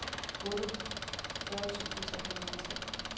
otteogfyrre tusind tre hundrede og tre